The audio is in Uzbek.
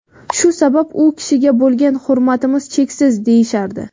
Shu sabab u kishiga bo‘lgan hurmatimiz cheksiz”, deyishardi.